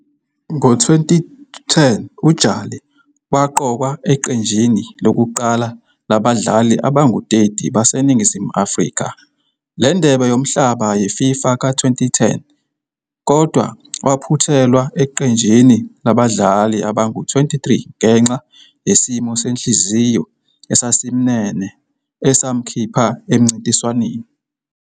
Ngo-2010, uJali waqokwa eqenjini lokuqala labadlali abangu-30 baseNingizimu Afrika leNdebe Yomhlaba ye-FIFA ka-2010 kodwa waphuthelwa eqenjini labadlali abangu-23 ngenxa yesimo senhliziyo esasimnene esamkhipha emncintiswaneni.